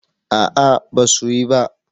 A'a ba su yi ba